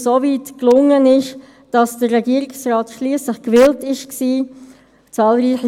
Normalerweise hat man den Geschäftsbericht bereits hinter sich, und er ist durchgegangen.